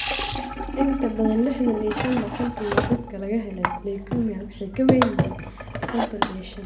In ka badan liixdhan iyo shaan boqolkiiba dadka laga helay leukemia waxay ka weyn yihiin konton iyo shaan .